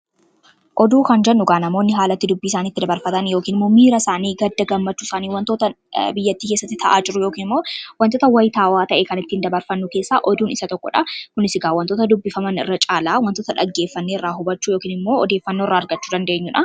Oduu kan jennu namoonni haalatti dubbii isaani itti dabarfatan yookn miira isaanii gadda gammachuu isaanii wantoota biyyattii kesatti ta'aa jiruu yookiin wantoota wayitaawaa ta'ee kan ittiin dabarfannu keessa oduun isa tokkodha. Kunisi wantoota dubbifaman irra caalaa wantoota dhaggeeffanne irraa hubachuu yookn immoo odeeffanno irra argachuu dandeenyudha.